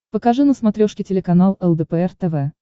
покажи на смотрешке телеканал лдпр тв